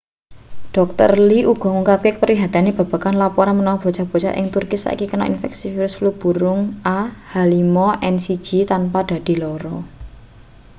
dr. lee uga ngungkapake kaprihatinane babagan lapuran menawa bocah-bocah ing turki saiki kena infeksi virus flu burung ah5n1 tanpa dadi lara